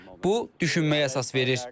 Bu düşünməyə əsas verir.